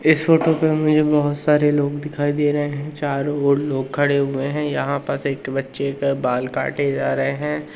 इस फोटो पे मुझे बहुत सारे लोग दिखाई दे रहे हैं चारों ओर लोग खड़े हुए हैं यहां पास एक बच्चे का बाल काटे जा रहे हैं।